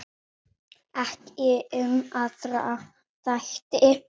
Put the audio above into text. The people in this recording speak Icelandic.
Ekki um aðra þætti.